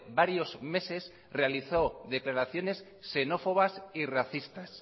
varios meses realizó declaraciones xenófobas y racistas